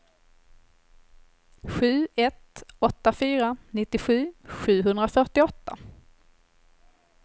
sju ett åtta fyra nittiosju sjuhundrafyrtioåtta